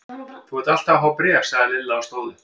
Þú ert alltaf að fá bréf sagði Lilla og stóð upp.